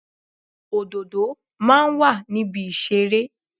Òdòdó máa ń wà ní ibi ìṣeré.